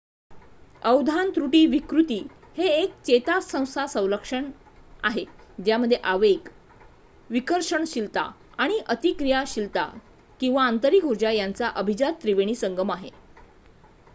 अवधान त्रुटी विकृती हे एक चेतासंस्था संलक्षण आहे ज्यामध्ये आवेग विकर्षणशीलता आणि अतिक्रिया शीलता किंवा अतिरिक्त उर्जा यांचा अभिजात त्रिवेणी संगम आहे